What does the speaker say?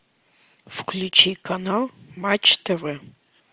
включи канал матч тв